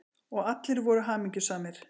Og allir voru hamingjusamir.